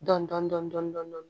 Dɔndɔni